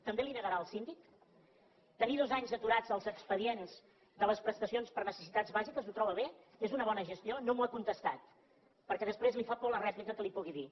també li ho negarà al síndic tenir dos anys aturats els expedients de les prestacions per necessitats bàsiques ho troba bé és una bona gestió no m’ho ha contestat perquè després li fa por la rèplica que li pugui dir